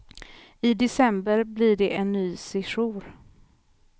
I december blir det en ny sejour.